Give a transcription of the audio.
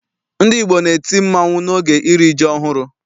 Ndị Igbo na-eti mmanwụ n'oge iri ji ọhụrụ.